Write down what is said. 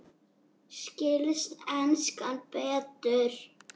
Skilst enskan betur?